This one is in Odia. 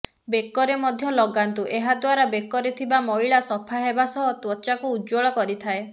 ବେକରେ ମଧ୍ୟ ଲଗାନ୍ତୁ ଏହା ଦ୍ବାରା ବେକରେ ଥିବା ମଇଳା ସଫା ହେବା ସହ ତ୍ବଚାକୁ ଉଜ୍ଜଳ କରିଥାଏ